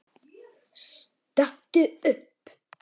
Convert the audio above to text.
Stattu upp!